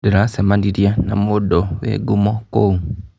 Ndĩracemanirie na mũndũ wĩ ngumo kũu.